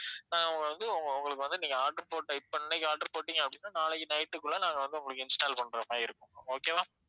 ஆஹ் உங்களுக்கு வந்து உங்க~ உங்களுக்கு வந்து நீங்க order போட்ட இப்ப இன்னைக்கு order போட்டீங்க அப்படின்னா நாளைக்கு night குள்ள நாங்க வந்து உங்களுக்கு install பண்ற மாதிரி இருக்கும் ma'am okay வா